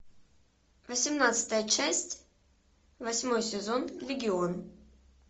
восемнадцатая часть восьмой сезон легион